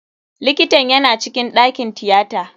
Likitan yana cikin ɗakin tiyata.